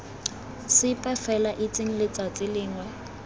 sepe fela itseng letsatsi lengwe